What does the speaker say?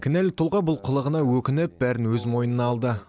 кінәлі тұлға бұл қылығына өкініп бәрін өз мойнына алды